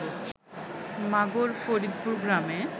মাগর ফরিদপুর গ্রামে